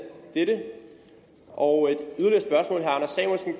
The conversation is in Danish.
dette og